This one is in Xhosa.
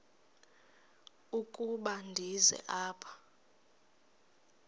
ukuba ndize apha